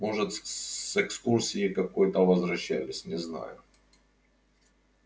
может с экскурсии какой-то возвращались не знаю